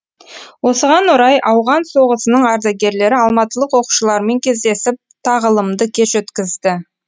осыған орай ауған соғысының ардагерлері алматылық оқушылармен кездесіп тағылымды кеш өткізді